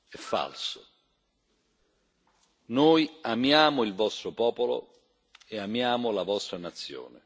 È falso. Noi amiamo il vostro popolo e amiamo la vostra nazione.